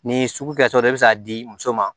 Ni sugu kɛtɔ don i bɛ se k'a di muso ma